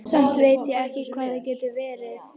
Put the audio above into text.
Samt veit ég ekki hvað það getur verið.